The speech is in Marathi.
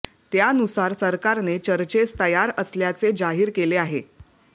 त्यानुसार सरकारने चर्चेस तयार असल्याचे जाहीर केले आहे